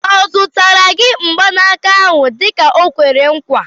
Ọ zụtara gị mgbanaka ahụ dịka o kwere nkwa?